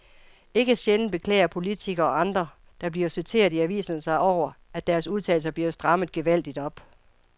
Ikke sjældent beklager politikere og andre, der bliver citeret i aviserne sig over, at deres udtalelser bliver strammet gevaldigt op.